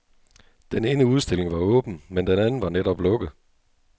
Den ene udstilling var åben, men den anden var netop lukket.